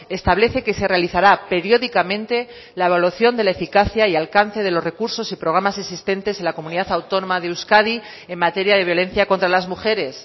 establece que se realizará periódicamente la evolución de la eficacia y alcance de los recursos y programas existentes en la comunidad autónoma de euskadi en materia de violencia contra las mujeres